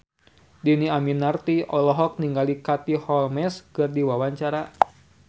Dhini Aminarti olohok ningali Katie Holmes keur diwawancara